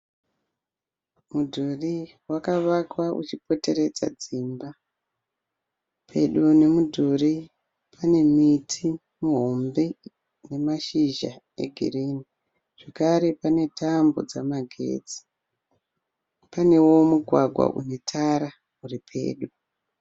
Mudhuri vakawakwa uchipoteredza dzimba. Pedo ne mudhuri pane miti mihombe ine mashizha egirini zvakare pane Tambo dzemagetsi panewo mugwagwa une Tara uri pedo